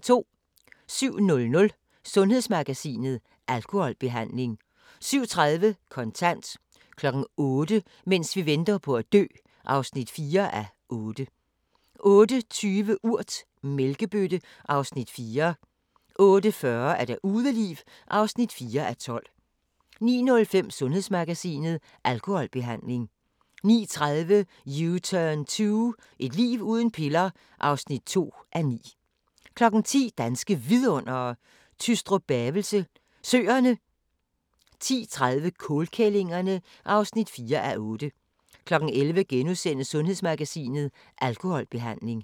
07:00: Sundhedsmagasinet: Alkoholbehandling 07:30: Kontant 08:00: Mens vi venter på at dø (4:8) 08:20: Urt: Mælkebøtte (Afs. 4) 08:40: Udeliv (4:12) 09:05: Sundhedsmagasinet: Alkoholbehandling 09:30: U-Turn 2 – et liv uden piller (2:9) 10:00: Danske Vidundere: Tystrup-Bavelse Søerne 10:30: Kålkællingerne (4:8) 11:00: Sundhedsmagasinet: Alkoholbehandling *